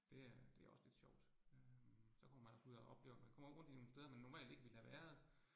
Det er, det også lidt sjovt. Øh så kommer man også ud og oplever, man kommer rundt i nogle steder, man normalt ikke ville have været